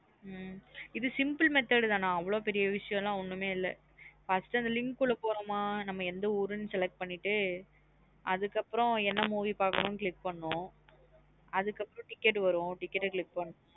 ஹம் இது simple method நா அவ்ளோ பெரிய விஷயம் லாம் ஒன்னுமே இல்லா first அந்த link க்குள்ளபோறோம நம்ம எந்த ஊருன்னு னு select பண்ணிட்டுஅதுக்கு அதுகப்ரோ என்ன movie பாக்கறோம் click பண்ணனும் அதுக்கப்றம் ticket வரும் ticketclick.